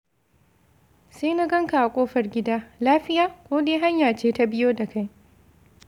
Sai na ganka a kofar gida, lafiya, ko dai hanya ce ta biyo da kai?